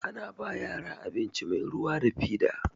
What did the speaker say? Ana ba yara abinci mai ruwa da fida.